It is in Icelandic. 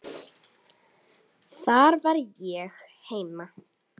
Þar var ég heima.